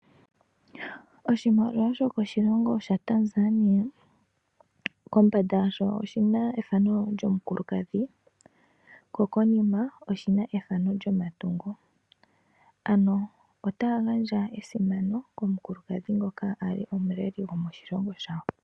Oshimaliwa shokoshilongo shaTanzania kombanda yasho oshina ethano lyomukulukadhi omanga konima yasho ku na ethano lyomatungo. Otaya gandja esimano komukulukadhi ngoka a li omuleli gwoshilongo shawo.